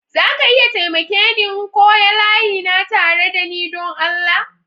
Za ka iya taimake ni n'koya layi na tare da ni don Allah?